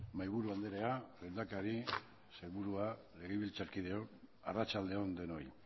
mahai buru andrea lehendakari sailburuak legebiltzar kideok arratsalde on denoi